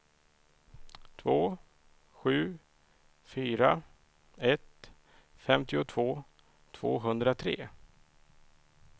två sju fyra ett femtiotvå tvåhundratre